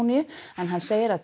hann segir að